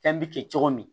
Fɛn bɛ kɛ cogo min